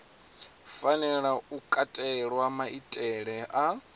fanela u katela maitele a